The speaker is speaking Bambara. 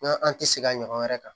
N'an an tɛ segin a ɲɔgɔn wɛrɛ kan